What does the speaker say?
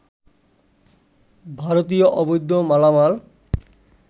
ভারতীয় অবৈধ মালামাল